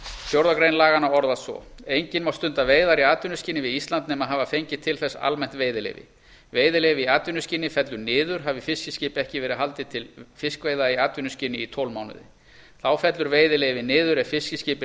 fjórðu grein laganna orðast svo enginn má stunda veiðar í atvinnuskyni við ísland nema hafa fengið til þess almennt veiðileyfi veiðileyfi í atvinnuskyni fellur niður hafi fiskiskipi ekki verið haldið til fiskveiða í atvinnuskyni í tólf mánuði þá fellur veiðileyfi niður ef fiskiskip er